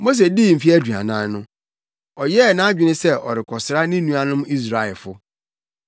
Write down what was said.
“Mose dii mfe aduanan no, ɔyɛɛ nʼadwene sɛ ɔrekɔsra ne nuanom Israelfo.